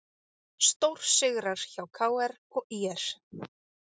Stórsigrar hjá KR og ÍR